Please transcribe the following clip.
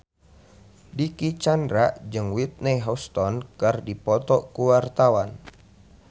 Dicky Chandra jeung Whitney Houston keur dipoto ku wartawan